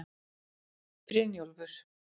Brynjólfur